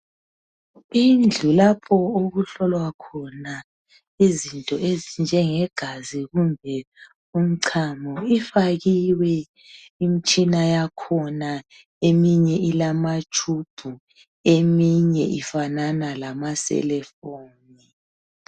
indlu lapho okuhlolwa khona izinto ezinje ngegazi kumbe umncamo ifakiwe imitshina yakhona eyinye ilama tshubhu eyinye ifanana lama selefoni